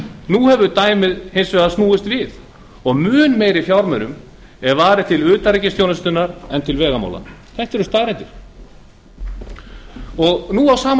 nú hefur dæmið hins vegar snúist við og mun meiri fjármunum er varið til utanríkisþjónustunnar en til vegamála þetta eru staðreyndir á sama